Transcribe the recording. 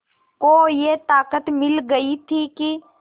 को ये ताक़त मिल गई थी कि